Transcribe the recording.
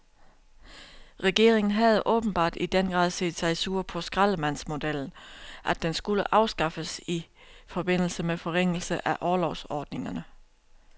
Regeringen havde åbenbart i den grad set sig sur på skraldemandsmodellen, at den skulle afskaffes i forbindelse med forringelse af orlovsordningerne.